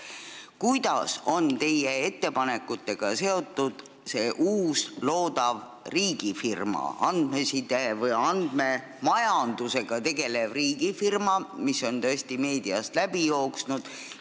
Kas teie ettepanekud puudutavad ka seda uut loodavat andmeside või andmemajandusega tegelevat riigifirmat, mis on meediast läbi jooksnud?